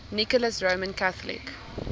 nicholas roman catholic